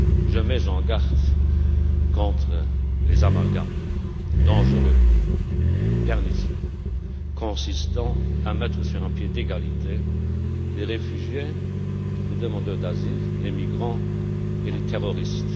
Je mets en garde contre les amalgames dangereux, pernicieux, consistant à mettre sur un pied d'égalité les réfugiés, les demandeurs d'asile, les migrants et les terroristes.